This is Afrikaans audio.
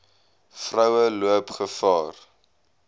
vroue loop gevaar